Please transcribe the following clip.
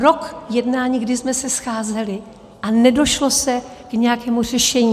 Rok jednání, kdy jsme se scházeli, a nedošlo se k nějakému řešení.